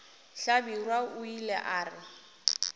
hlabirwa o ile a re